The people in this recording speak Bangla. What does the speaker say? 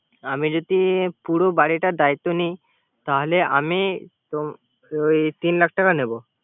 আমি যতি পুরো বারিটার দায়িত্ব নেয়। তাহলে আমি তিন লাখ টাকা নিবো